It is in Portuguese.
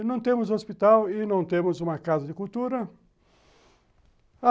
E não temos hospital e não temos uma casa de cultura.